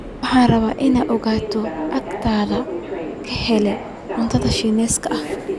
Waxaan rabaa in aan agteyda ka helo cunto shiinees ah